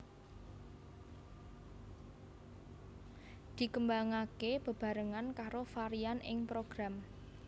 Dikembangake bebarengan karo varian ing Program